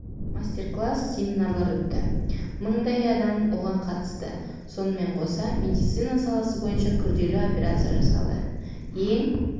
мастер-класс семинарлар өтті мыңдай адам оған қатысты сонымен қоса медицина саласы бойынша күрделі операция жасалды ең